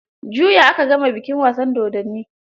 Juya aka gama bikin wasan dodonin.